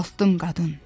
Ucaltdım qadın.